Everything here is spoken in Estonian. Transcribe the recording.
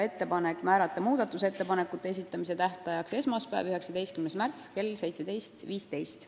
Ettepanek on määrata muudatusettepanekute esitamise tähtajaks esmaspäev, 19. märts kell 17.15.